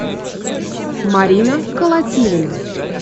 марина колотилина